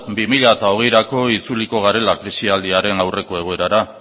bi mila hogeirako itzuliko garela krisialdiaren aurreko egoerara